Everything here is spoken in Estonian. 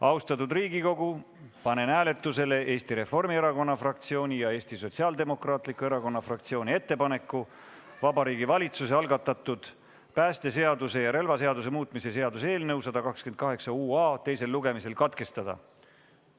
Austatud Riigikogu, panen hääletusele Eesti Reformierakonna fraktsiooni ja Eesti Sotsiaaldemokraatliku Erakonna fraktsiooni ettepaneku Vabariigi Valitsuse algatatud päästeseaduse ja relvaseaduse muutmise seaduse eelnõu 128 UA teisel lugemisel katkestada.